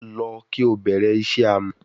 Lọ ki o bẹrẹ iṣẹ amọ